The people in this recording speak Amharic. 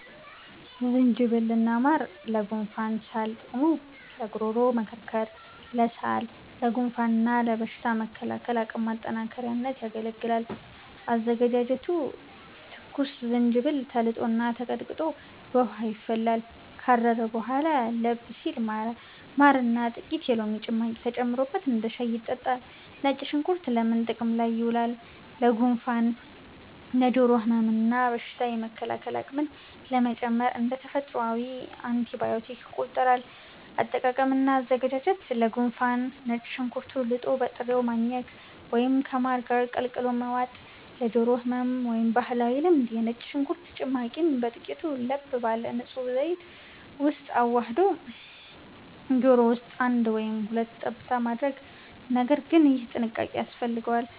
ዝንጅብል እና ማር (ለጉንፋንና ሳል) ጥቅሙ፦ ለጉሮሮ መከርከር፣ ለሳል፣ ለጉንፋን እና ለበሽታ መከላከል አቅም ማጠናከሪያነት ያገለግላል። አዘገጃጀቱ፦ ትኩስ ዝንጅብል ተልጦና ተቀጥቅጦ በውሃ ይፈላል። ካረረ በኋላ ለብ ሲል ማርና ጥቂት የሎሚ ጭማቂ ተጨምሮበት እንደ ሻይ ይጠጣል።. ነጭ ሽንኩርት ለምን ጥቅም ላይ ይውላል? ለጉንፋን፣ ለጆሮ ህመም እና በሽታ የመከላከል አቅምን ለመጨመር (እንደ ተፈጥሯዊ አንቲባዮቲክ ይቆጠራል)። አጠቃቀም እና አዘገጃጀት፦ ለጉንፋን፦ ነጭ ሽንኩርቱን ልጦ በጥሬው ማኘክ ወይም ከማር ጋር ቀላቅሎ መዋጥ። ለጆሮ ህመም (ባህላዊ ልምድ)፦ የነጭ ሽንኩርት ጭማቂን በጥቂቱ ለብ ባለ ንጹህ ዘይት ውስጥ አዋህዶ ጆሮ ውስጥ አንድ ወይም ሁለት ጠብታ ማድረግ (ነገር ግን ይህ ጥንቃቄ ያስፈልገዋል)።